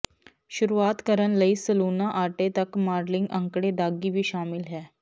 ਸ਼ੁਰੂਆਤ ਕਰਨ ਲਈ ਸਲੂਣਾ ਆਟੇ ਤੱਕ ਮਾਡਲਿੰਗ ਅੰਕੜੇ ਦਾਗੀ ਵੀ ਸ਼ਾਮਲ ਹੈ